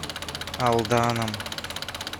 алданом